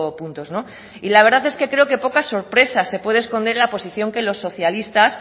puntos la verdad es que creo que pocas sorpresas se pueden esconder en la posición que los socialistas